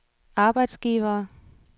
arbejdsgivere